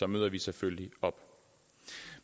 møder vi selvfølgelig op